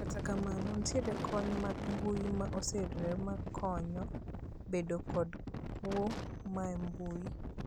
Kata kamano, nitiere kony mag mbui ma oseyudore mar konyo kedo kod kwo mae mbui.